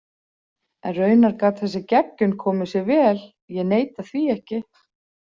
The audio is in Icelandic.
En raunar gat þessi geggjun komið sér vel, ég neita því ekki.